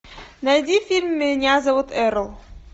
найди фильм меня зовут эрл